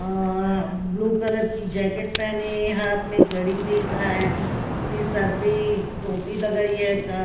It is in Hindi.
अह ब्लू कलर की जैकेट पेहने हाथ में घड़ी देख रहा है उसने सर पे टोपी लगाइए का--